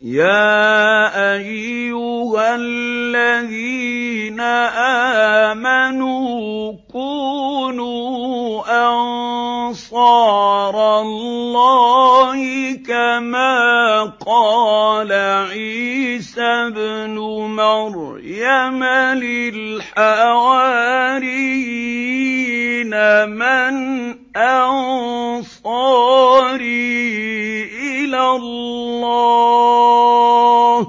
يَا أَيُّهَا الَّذِينَ آمَنُوا كُونُوا أَنصَارَ اللَّهِ كَمَا قَالَ عِيسَى ابْنُ مَرْيَمَ لِلْحَوَارِيِّينَ مَنْ أَنصَارِي إِلَى اللَّهِ ۖ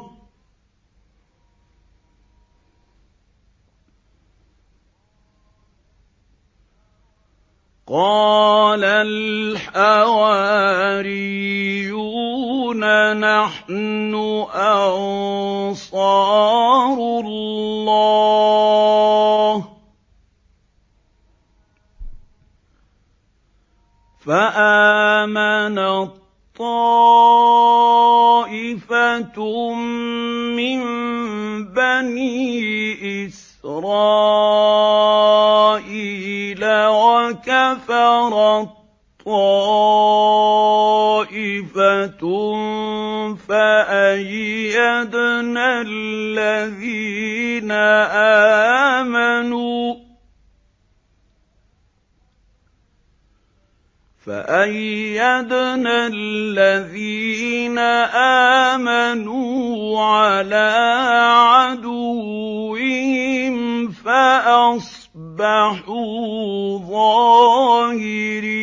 قَالَ الْحَوَارِيُّونَ نَحْنُ أَنصَارُ اللَّهِ ۖ فَآمَنَت طَّائِفَةٌ مِّن بَنِي إِسْرَائِيلَ وَكَفَرَت طَّائِفَةٌ ۖ فَأَيَّدْنَا الَّذِينَ آمَنُوا عَلَىٰ عَدُوِّهِمْ فَأَصْبَحُوا ظَاهِرِينَ